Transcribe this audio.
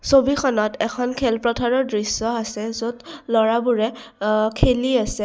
ছবিখনত এখন খেল পথাৰৰ দৃশ্য আছে য'ত ল'ৰাবোৰে অ খেলি আছে।